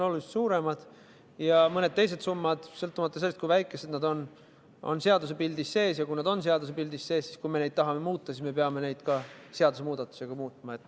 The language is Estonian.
Seevastu mõned teised summad, sõltumata sellest, kui väikesed nad on, on seadusepildis sees ja kui nad on seadusepildis sees, siis juhul, kui me tahame neid muuta, peame seda tegema seadusemuudatusega.